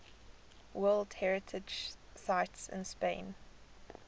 world heritage sites in spain